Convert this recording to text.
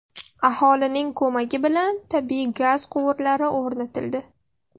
Aholining ko‘magi bilan tabiiy gaz quvurlari o‘rnatildi.